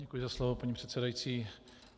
Děkuji za slovo, paní předsedající.